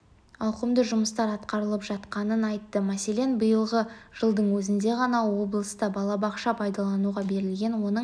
ауқымды жұмыстар атқарылып жатқанын айтты мәселен биылғы жылдың өзінде ғана облыста балабақша пайдалануға берілген оның